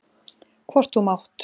Hvort þú mátt.